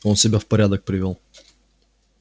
он себя в порядок привёл